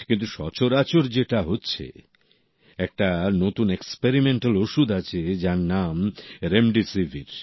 কিন্তু সচরাচর যেটা হচ্ছে একটা নতুন এক্সপেরিমেন্টাল ওষুধ আছে যার নাম রেমডেসিভির